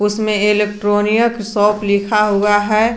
इसमें electronic shop लिखा हुआ है।